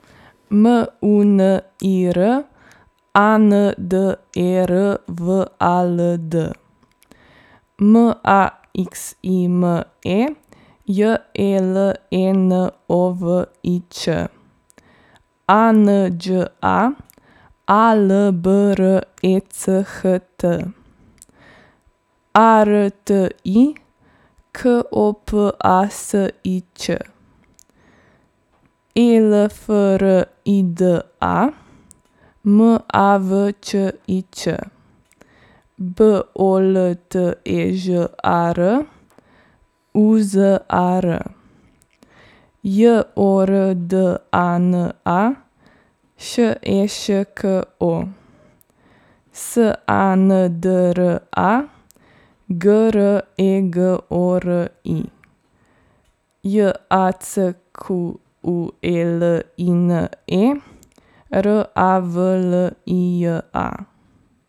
M U N I R, A N D E R W A L D; M A X I M E, J E L E N O V I Č; A N Đ A, A L B R E C H T; A R T I, K O P A S I Ć; E L F R I D A, M A V Č I Č; B O L T E Ž A R, U Z A R; J O R D A N A, Š E Š K O; S A N D R A, G R E G O R I; J A C Q U E L I N E, R A V L I J A.